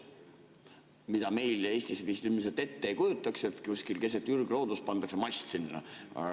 Seda meil Eestis ilmselt ette ei kujutaks, et kuskil keset ürgloodust pannakse mast püsti.